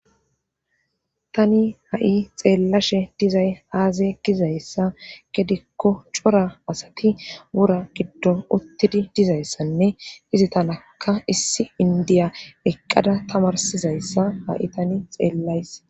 Tani ha'i xeellashe dizay haazay gizayssa gedikko cora asati wura giddon uttidi dizayssanne izi tanakka issi indiya eqqada tamarsizayssa ha'i tani xeellays.